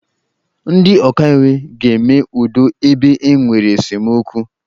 Ndị ọkaiwu ga-eme udo ebe e nwere esemokwu.